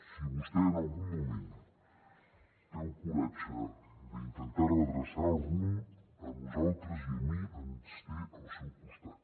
si vostè en algun moment té el coratge d’intentar redreçar el rumb a nosaltres i a mi ens té al seu costat